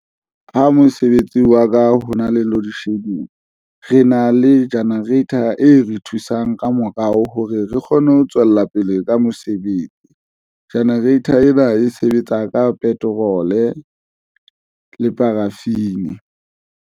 Ha mosebetsi wa ka hona le loadshedding, re na le generator e re thusang ka morao hore re kgone ho tswella pele ka mosebetsi. Generator ena e sebetsa ka petrole le paraffin.